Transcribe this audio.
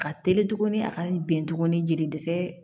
Ka teli tuguni a ka bɛn tuguni jelisɛ